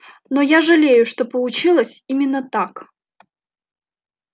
но я жалею что получилось именно так